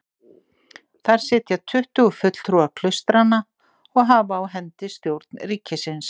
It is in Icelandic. Þar sitja tuttugu fulltrúar klaustranna og hafa á hendi stjórn ríkisins.